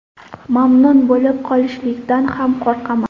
Mamnun bo‘lib qolishlikdan ham qo‘rqaman”.